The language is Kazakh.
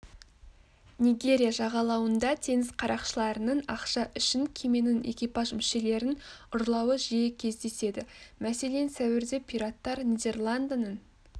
нигерия жағалауында теңіз қарақшыларының ақша үшін кеменің экипаж мүшелерін ұрлауы жиі кездеседі мәселен сәуірде пираттар нидерландының